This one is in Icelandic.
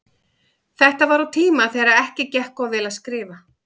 Þetta var á tíma þegar ekki gekk of vel að skrifa.